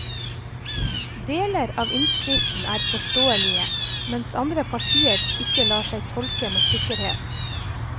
Deler av innskriften er forståelige, mens andre partier ikke lar seg tolke med sikkerhet.